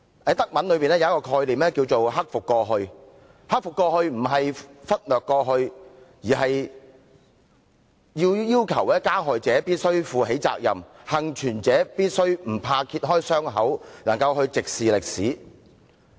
在德文中有一種概念名為"克服過去"，"克服過去"並非忽略過去，而是要求加害者必須負起責任，幸存者必須不怕揭開傷口，能夠直視歷史。